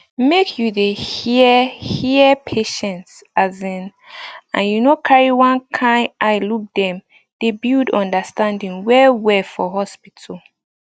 make you dey hear hear patients asin and you no carry one kind eye look dem dey build understanding well well for hospital